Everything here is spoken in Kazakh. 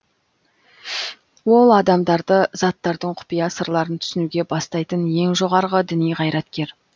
ол адамдарды заттардың құпия сырларын түсінуге бастайтын ең жоғарғы діни қайраткер